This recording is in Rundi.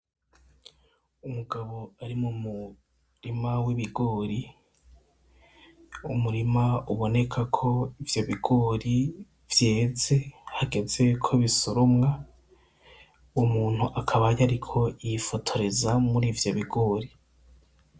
Umugabo ari mu murima w'ibigori umurima ubonekako ivyo bigori vyeze hagezeko bisoromwa; uwo muntu akaba yariko yifotoreza murivyo bigori.